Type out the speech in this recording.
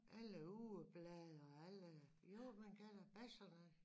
Alle ugeblade og alle jo man kan da Basserne